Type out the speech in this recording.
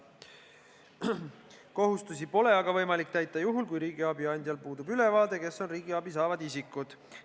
Kohustusi pole aga võimalik täita juhul, kui riigiabi andjal puudub ülevaade, kes on riigiabi saavad isikud.